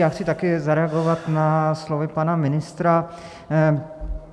Já chci také zareagovat na slova pana ministra.